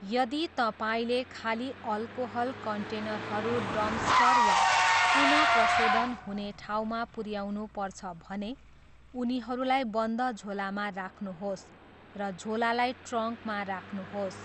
यदि तपाईँले खाली अल्कोहल कन्टेनरहरू डम्पस्टर वा पुनः प्रशोधन हुने ठाउँमा पुऱ्याउनुपर्छ भने, उनीहरूलाई बन्द झोलामा राख्नुहोस् र झोलालाई ट्रङ्कमा राख्नुहोस्।